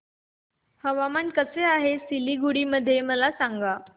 हवामान कसे आहे सिलीगुडी मध्ये मला सांगा